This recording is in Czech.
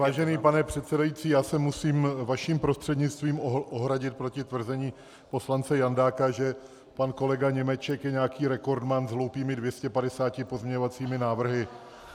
Vážený pane předsedající, já se musím vaším prostřednictvím ohradit proti tvrzení poslance Jandáka, že pan kolega Němeček je nějaký rekordman s hloupými 250 pozměňovacími návrhy.